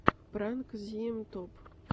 пранк зиэм топ